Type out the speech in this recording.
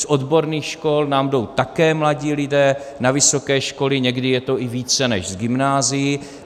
Z odborných škol nám jdou také mladí lidé na vysoké školy, někdy je to i více než z gymnázií.